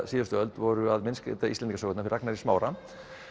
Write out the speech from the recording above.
síðustu öld voru að myndskreyta Íslendingasögurnar Ragnar í Smára